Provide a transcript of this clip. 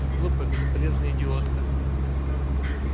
глупая бесполезная идиотка